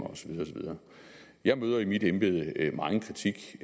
og så videre jeg møder i mit embede megen kritik